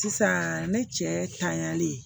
Sisan ne cɛyali ye